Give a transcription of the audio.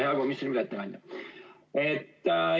Hea komisjoni ettekandja!